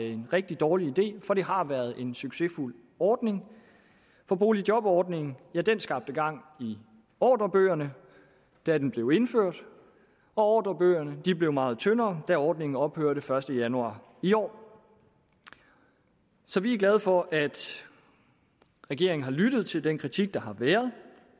en rigtig dårlig idé for det har været en succesfuld ordning for boligjobordningen skabte gang i ordrebøgerne da den blev indført og ordrebøgerne blev meget tyndere da ordningen ophørte den første januar i år så vi er glade for at regeringen har lyttet til den kritik der har været